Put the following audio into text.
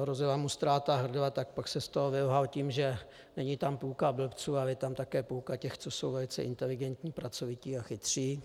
hrozila mu ztráta hrdla, tak pak se z toho vylhal tím, že není tam půlka blbců, ale je tam také půlka těch, co jsou velice inteligentní, pracovití a chytří.